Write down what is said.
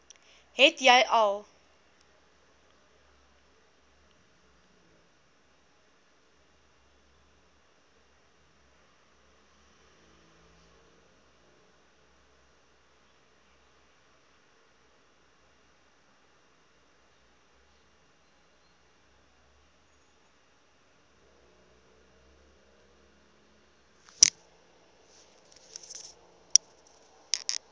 het jy al